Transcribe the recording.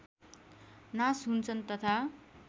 नाश हुन्छन् तथा